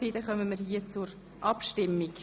Wir kommen demnach zur Abstimmung.